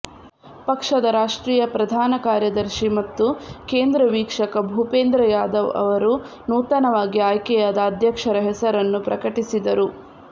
ಪಕ್ಷದ ರಾಷ್ಟ್ರೀಯ ಪ್ರಧಾನ ಕಾರ್ಯದರ್ಶಿ ಮತ್ತು ಕೇಂದ್ರ ವೀಕ್ಷಕ ಭೂಪೇಂದ್ರ ಯಾದವ್ ಅವರು ನೂತನವಾಗಿ ಆಯ್ಕೆಯಾದ ಅಧ್ಯಕ್ಷರ ಹೆಸರನ್ನು ಪ್ರಕಟಿಸಿದರು